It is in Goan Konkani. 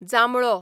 जांबळो